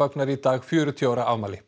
fagnar í dag fjörutíu ára afmæli